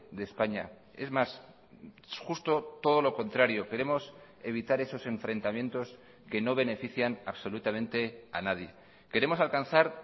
de españa es más justo todo lo contrario queremos evitar esos enfrentamientos que no benefician absolutamente a nadie queremos alcanzar